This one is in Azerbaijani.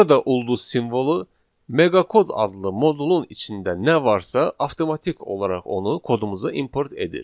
Burada ulduz simvolu meqakod adlı modulun içində nə varsa avtomatik olaraq onu kodumuza import edir.